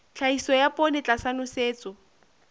tlhahiso ya poone tlasa nosetso